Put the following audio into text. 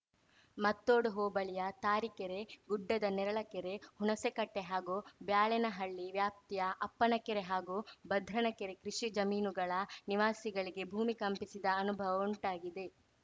ಮತ್ತೋಡು ಹೋಬಳಿಯ ತಾರೀಕೆರೆ ಗುಡ್ಡದ ನೇರಳಕೆರೆ ಹುಣಸೇಕಟ್ಟೆಹಾಗೂ ಬ್ಯಾಳೇನಹಳ್ಳಿ ವ್ಯಾಪ್ತಿಯ ಅಪ್ಪನ ಕೆರೆ ಹಾಗೂ ಭದ್ರನ ಕೆರೆ ಕೃಷಿ ಜಮೀನುಗಳ ನಿವಾಸಿಗಳಿಗೆ ಭೂಮಿ ಕಂಪಿಸಿದ ಅನುಭವ ಉಂಟಾಗಿದೆ